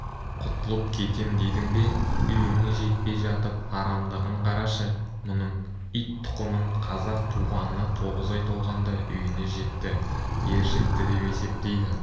құтылып кетем дедің бе үйіне жетпей жатып арамдығын қарашы мұның ит тұқымын қазақ туғанына тоғыз ай толғанда үйіне жетті ер жетті деп есептейді